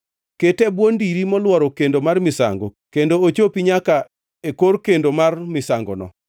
Kete e bwo ndiri molworo kendo mar misango kendo ochopi nyaka e kor kendo mar misangono.